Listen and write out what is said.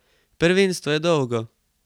Prvenstvo je dolgo.